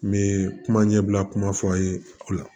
N bɛ kuma ɲɛbila kuma fɔ aw ye o la